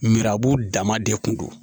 Arabu dama de kun don